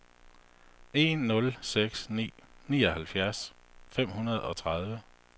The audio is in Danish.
en nul seks ni nioghalvtreds fem hundrede og tredive